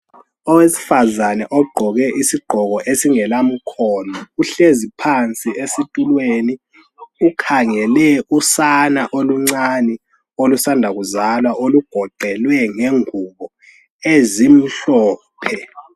Owesifazane ogqoke isigqoko esingelamkhono uhlezi phansi esitulweni ukhangele usana oluncane olusanda kuzalwa olugoqelwe ngengubo ezimhlophe.